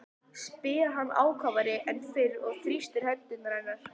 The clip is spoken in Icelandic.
spyr hann ákafari en fyrr og þrýstir hendur hennar.